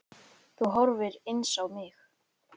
Þú horfir eins á mig.